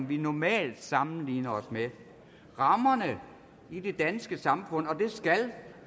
vi normalt sammenligner os med rammerne i det danske samfund og det skal